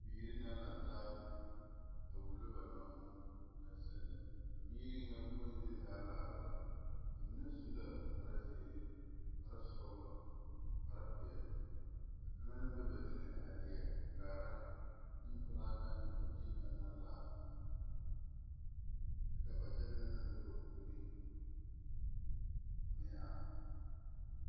Biire naŋ laŋtaa a wullo ba nommo naŋ seŋ lɛ a biire ŋa Kpoŋ zie zaa laara la ba mine su la kpare zeere, kpare sɔglɔ, kpare peɛɛli ka kaŋa naŋ be ba niŋeŋ a lie a kaara neŋ pilaa kaŋ ne a bie kaŋ naŋ la kyɛ ka ba kyɛl na naŋ be ba puoriŋ meŋ are.